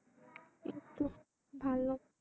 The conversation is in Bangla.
এইতো ভালো।